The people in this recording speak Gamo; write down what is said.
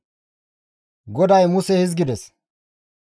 GODAY Muse hizgides,